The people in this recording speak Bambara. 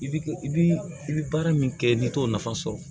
I bi i bi i bi baara min kɛ n'i t'o nafa sɔrɔ